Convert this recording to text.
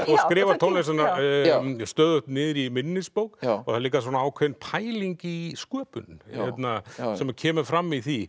og skrifar tónlistina stöðugt niður í minnisbók það er líka ákveðin pæling í sköpun sem kemur fram í því